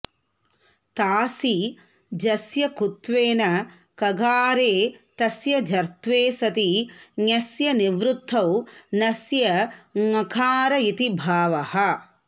तासि जस्य कुत्वेन गकारे तस्य चर्त्वे सति ञस्य निवृत्तौ नस्य ङकार इति भावः